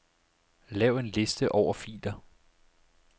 Lav en liste over filer.